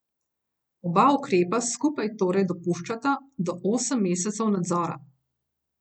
Oba ukrepa skupaj torej dopuščata do osem mesecev nadzora.